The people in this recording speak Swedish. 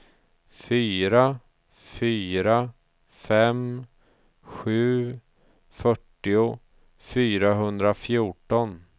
fyra fyra fem sju fyrtio fyrahundrafjorton